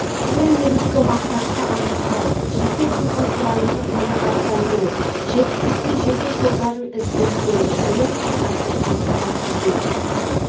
ол негізгі мақсатты анықтау жеке тұлға сұранысын қанағаттандыру жетістікке жету жолдарын іздестіру білім сапасын қамтамасыз ету